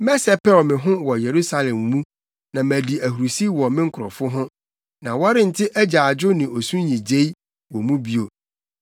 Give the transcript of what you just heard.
Mɛsɛpɛw me ho wɔ Yerusalem mu, na madi ahurusi wɔ me nkurɔfo ho. Na wɔrente agyaadwo ne osu nnyigyei wɔ mu bio.